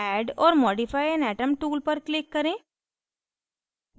add or modify an atom tool पर click करें